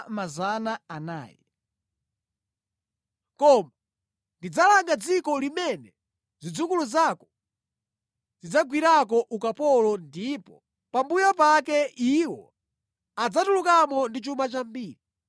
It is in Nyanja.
Koma ndidzalanga dziko limene zidzukulu zako zidzagwireko ukapolo ndipo pambuyo pake iwo adzatulukamo ndi chuma chambiri.